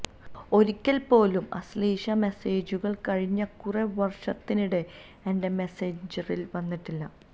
ഒരിക്കൽ പോലും അശ്ലീല മെസ്സേജുകൾ കഴിഞ്ഞ കുറെ വർഷത്തിനിടെ എന്റെ മെസഞ്ചറിൽ വന്നിട്ടില്ല